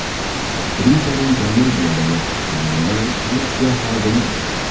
Aktrisaning komediyadagi qahramoni politsiya xodimi edi.